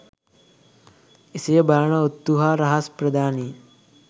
එසේ බලන ඔත්තු හා රහස් ප්‍රධානීන්